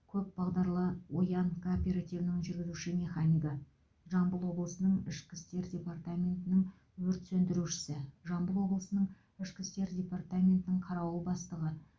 көпбағдарлы оян кооперативінің жүргізуші механигі жамбыл облысының ішкі істер департаментінің өрт сөндірушісі жамбыл облысының ішкі істер департаментінің қарауыл бастығы